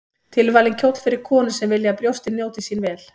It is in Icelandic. Tilvalinn kjóll fyrir konur sem vilja að brjóstin njóti sín vel.